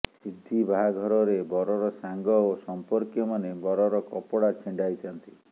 ସିନ୍ଧିି ବାହାଘରରେ ବରର ସାଙ୍ଗ ଓ ସଂପର୍କୀୟମାନେ ବରର କପଡ଼ା ଛିଣ୍ଡାଇଥାନ୍ତି